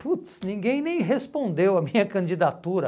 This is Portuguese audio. Puts, ninguém nem respondeu a minha candidatura.